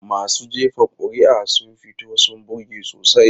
Masu jefa kuri'a sun fito sun burge sosai.